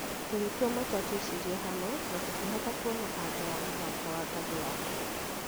Tũgĩtua matua tũĩcirie hamwe, na tũkĩhota kuona anja ya mũthako wa ngathĩ ya kenda.